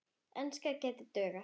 Enska gæti dugað.